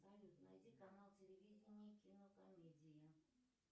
салют найди канал телевидения кинокомедия